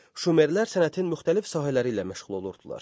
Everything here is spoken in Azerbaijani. Şumerlər sənətin müxtəlif sahələri ilə məşğul olurdular.